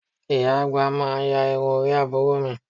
Ìyá àgbà máa ya irun orí àbúrò mi